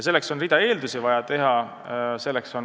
Selleks on vaja tervet hulka eeldusi.